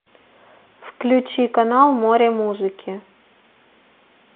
включи канал море музыки